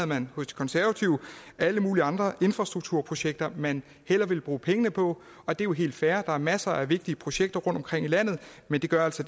man hos de konservative alle mulige andre infrastrukturprojekter man hellere ville bruge pengene på og det er jo helt fair der er masser af vigtige projekter rundtomkring i landet men det gør altså